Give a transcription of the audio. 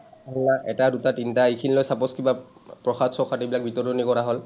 এটা, দুটা, তিনটা এইখিনিলে suppose কিবা প্ৰসাদ শ্ৰসাদ এইবিলাক বিতৰনি কৰা হল।